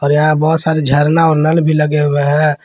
और यहा बहोत सारे झरना और नल भी लगे हुए है।